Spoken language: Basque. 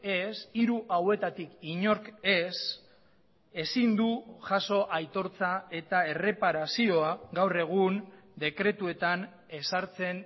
ez hiru hauetatik inork ez ezin du jaso aitortza eta erreparazioa gaur egun dekretuetan ezartzen